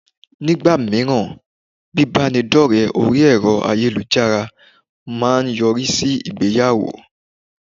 Ní ìgbà míràn bíbánidọ́rẹ̀ẹ́ orí ẹ̀rọ ayélujára má a ń yọrí sí ìgbéyàwó